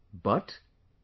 But...